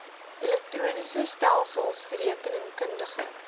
elektroniese stelsels rekeningkundige